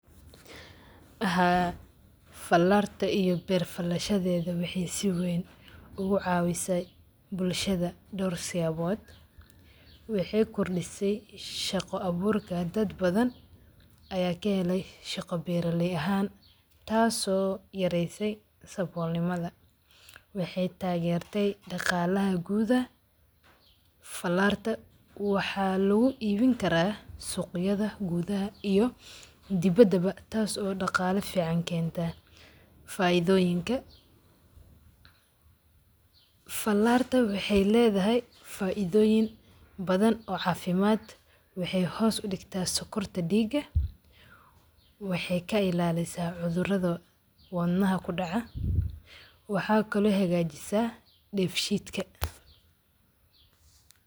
Haa falarta iyo beer faalashaadeda waxee si weyn u cawisay bulshaada dor si habod waxee kordisa shaqo aburka dad badan aya ka helay shaqo beera ley ahan taso yareyse sabol nimaada daqalaha gud falarta waxaa lagu ibin karaa suqyaada gudhaha iyo dibadawa taso daqala fican kenta, faidhoonyiinka falarta waxee ledahay faidhoyin badan oo cafimaad waxee hos udigta sokorta diga waxee ka ilalisa cudhurada wadnaha kudaca waxaa kalo hagajisa defshidka.